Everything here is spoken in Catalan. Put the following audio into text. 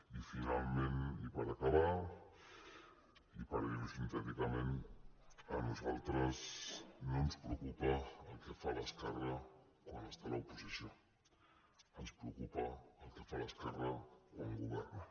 i finalment i per acabar i per dir ho sintèticament a nosaltres no ens preocupa el que fa l’esquerra quan està a l’oposició ens preocupa el que fa l’esquerra quan governa